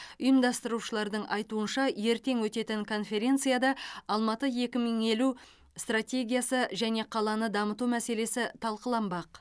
ұйымдастырушылардың айтуынша ертең өтетін конференцияда алматы екі мың елу стратегиясы және қаланы дамыту мәселесі талқыланбақ